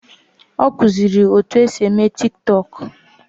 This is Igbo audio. Ọ kụziri etu esi eme Tiktọk